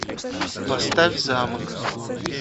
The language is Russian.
поставь замок